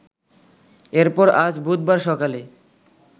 এরপর আজ বুধবার সকালে